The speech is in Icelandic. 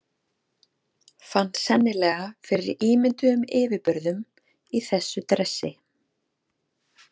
Fann sennilega fyrir ímynduðum yfirburðum í þessu dressi.